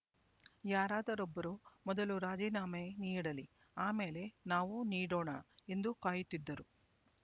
ಯಾರಾದರೊಬ್ಬರು ಮೊದಲು ರಾಜೀನಾಮೆ ನೀಡಲಿ ಆಮೇಲೆ ನಾವೂ ನೀಡೋಣ ಎಂದು ಕಾಯುತ್ತಿದ್ದರು